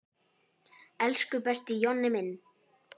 Elsku besti Jonni minn.